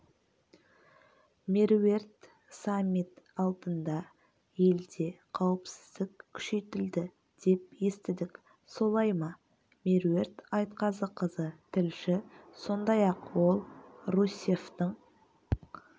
меруерт саммит алдында елде қауіпсіздік күшейтілді деп естідік солай ма меруерт айтқазықызы тілші сондай-ақ ол русеффтің